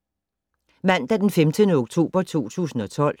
Mandag d. 15. oktober 2012